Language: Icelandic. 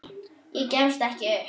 Gefstu ekki upp.